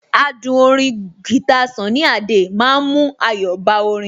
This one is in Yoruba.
Adùn orin guitar Sunny Adé ma ń mú ayọ̀ bá orin